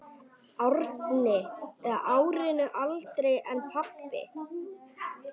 Árinu eldri en pabbi.